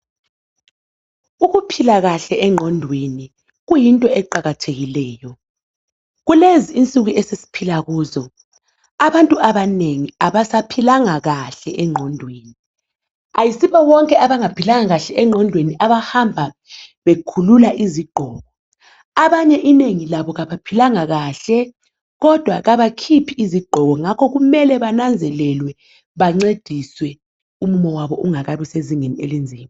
Ukuphila kahlle engqondweni kuyinto eqakathekileyo. Kulezi insuku esesiphila kizo, abantu abanengi abaphilanga kahle engqondweni. Kayisibo bonke abangaphilanga kahle engqondweni abahamba bekhulula izigqoko. Abanye inengi babo kabaphilanga kahle, kodwa kabakhuphi izigqoko. Ngakho kumele bananzelelwe bancediswe umumo wabo ungakabi sezingeni elinzima.